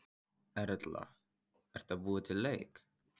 Erla: Ertu að búa til leik?